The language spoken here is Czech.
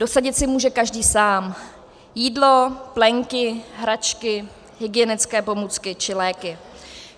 Dosadit si může každý sám - jídlo, plenky, hračky, hygienické pomůcky či léky.